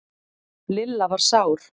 Lilla var sár.